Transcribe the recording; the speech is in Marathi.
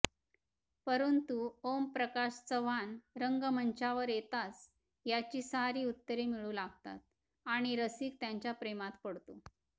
परंतु ओमप्रकाश चव्हाण रंगमंचावर येताच याची सारी उत्तरे मिळू लागतात आणि रसिक त्यांच्या प्रेमात पडतो